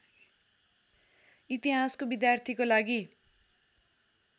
इतिहासको विद्यार्थीको लागि